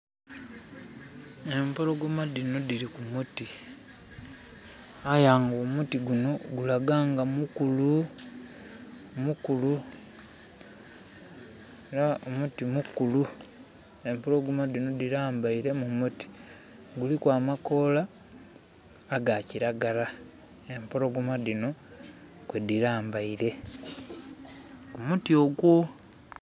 Empologoma dino diri ku muti aye nga omuti guno gulaga nga mukulu, mukulu, era muti mukulu. Empologoma dino dilambaire mu muti. Guliku amakoola aga kiragala empologoma dino kwe dilambaire ku muti ogwo